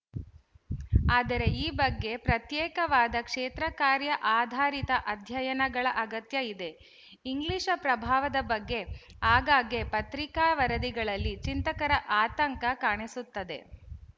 ಆದರೆ ಈ ಬಗ್ಗೆ ಪ್ರತ್ಯೇಕವಾದ ಕ್ಷೇತ್ರಕಾರ್ಯ ಆಧಾರಿತ ಅಧ್ಯಯನಗಳ ಅಗತ್ಯ ಇದೆ ಇಂಗ್ಲಿಶ ಪ್ರಭಾವದ ಬಗ್ಗೆ ಆಗಾಗ್ಗೆ ಪತ್ರಿಕಾ ವರದಿಗಳಲ್ಲಿ ಚಿಂತಕರ ಆತಂಕ ಕಾಣಿಸುತ್ತದೆ